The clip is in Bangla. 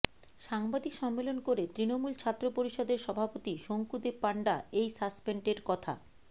সাংবাদিক সম্মেলন করে তৃণমূল ছাত্র পরিষদের সভাপতি শঙ্কুদেবপাণ্ডা এই সাসপেন্ডের কথা